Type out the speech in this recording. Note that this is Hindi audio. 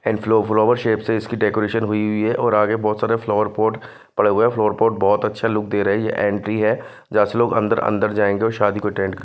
एंड फ्लो फ्लोवर शेप से इसकी डेकोरेशन हुई हुई हैऔर आगे बहुत सारे फ्लोर पॉट पड़ा हुआ हैफ्लोर पॉट बहुत अच्छा लुक दे रहे हैंये एंट्री है जहां से लोग अंदर-अंदर जाएंगे और शादी को अटेंड --